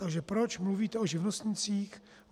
Takže proč mluvíte o živnostnících?